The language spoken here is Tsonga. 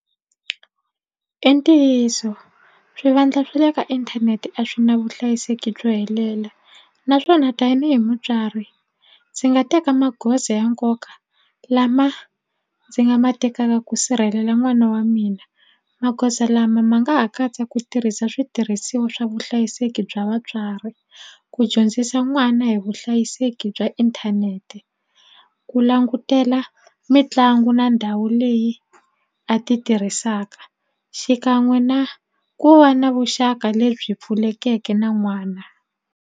I ntiyiso swivandla swa le ka inthanete a swi na vuhlayiseki byo helela naswona tanihi mutswari ndzi nga teka magoza ya nkoka lama ndzi nga ma tekaka ku sirhelela n'wana wa mina magoza lama ma nga ha katsa ku tirhisa switirhisiwa swa vuhlayiseki bya vatswari ku dyondzisa n'wana hi vuhlayiseki bya inthanete ku langutela mitlangu na ndhawu leyi a ti tirhisaka xikan'we na ku va na vuxaka lebyi pfulekeke na n'wana.